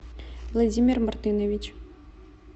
владимир мартынович